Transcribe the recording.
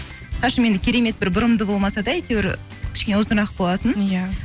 шашым енді керемет бір бұрымды болмаса да әйтеуір кішкене ұзынырақ болатын иә